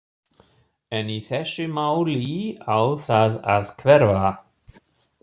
En í þessu máli á það að hverfa.